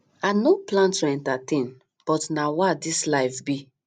i no plan to entertain but na wah this life be